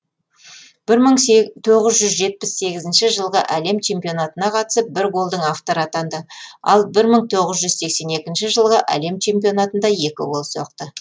бір мың тоғыз жүз жетпіс сегізінші жылғы әлем чемпионатына қатысып бір голдың авторы атанды ал бір мың тоғыз жүз сексен екінші жылғы әлем чемпионатында екі гол соқты